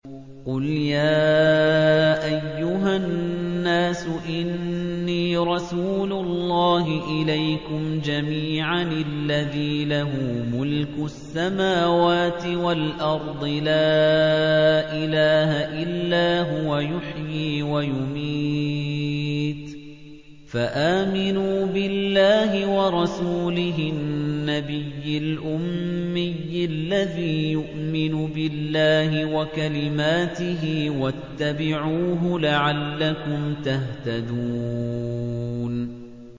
قُلْ يَا أَيُّهَا النَّاسُ إِنِّي رَسُولُ اللَّهِ إِلَيْكُمْ جَمِيعًا الَّذِي لَهُ مُلْكُ السَّمَاوَاتِ وَالْأَرْضِ ۖ لَا إِلَٰهَ إِلَّا هُوَ يُحْيِي وَيُمِيتُ ۖ فَآمِنُوا بِاللَّهِ وَرَسُولِهِ النَّبِيِّ الْأُمِّيِّ الَّذِي يُؤْمِنُ بِاللَّهِ وَكَلِمَاتِهِ وَاتَّبِعُوهُ لَعَلَّكُمْ تَهْتَدُونَ